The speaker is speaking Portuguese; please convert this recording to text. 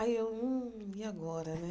Aí eu, hum, e agora, né?